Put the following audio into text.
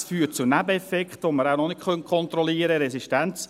Es führt zu Nebeneffekten, die wir nachher noch nicht kontrollieren können.